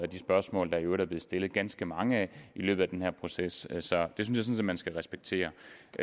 de spørgsmål der i øvrigt er blevet stillet ganske mange af i løbet af den her proces så det synes jeg man skal respektere